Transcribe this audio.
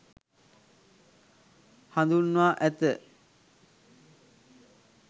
හඳුන්වා ඇත.